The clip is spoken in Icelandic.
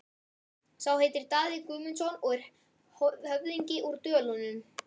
Sá heitir Daði Guðmundsson og er höfðingi úr Dölunum.